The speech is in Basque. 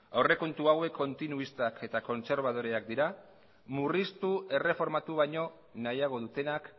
aurrekontu hauek kontinuistak eta kontserbadoreak dira murriztu erreformatu baino nahiago dutenak